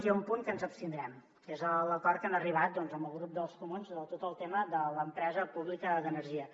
hi ha un punt que ens hi abstindrem que és l’acord a què han arribat amb el grup dels comuns de tot el tema de l’empresa pública d’energia